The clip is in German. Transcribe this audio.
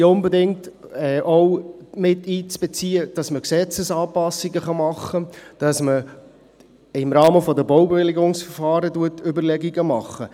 Deshalb ist unbedingt auch miteinzubeziehen, dass man Gesetzesanpassungen macht, dass man sich im Rahmen von Baubewilligungsverfahren Überlegungen macht.